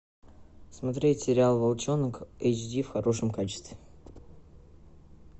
смотреть сериал волчонок эйч ди в хорошем качестве